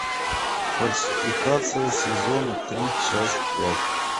фальсификация сезон три часть пять